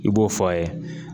I b'o fɔ a ye